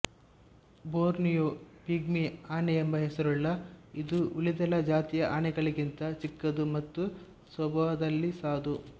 Borneo pygmy ಆನೆ ಎಂಬ ಹೆಸರುಳ್ಳ ಇದು ಉಳಿದೆಲ್ಲ ಜಾತಿಯ ಆನೆಗಳಿಗಿಂತ ಚಿಕ್ಕದು ಮತ್ತು ಸ್ವಭಾವದಲ್ಲಿ ಸಾಧು